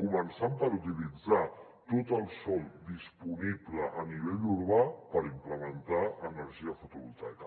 començant per utilitzar tot el sòl disponible a nivell urbà per implementar energia fotovoltaica